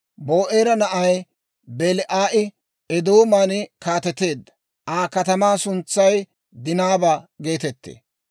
Ba'oora na'ay Belaa'i Eedooman kaateteedda; Aa katamaa suntsay Dinaaba geetettee.